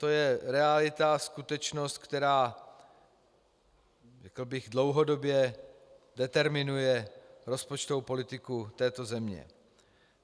To je realita, skutečnost, která, řekl bych, dlouhodobě determinuje rozpočtovou politiku této země.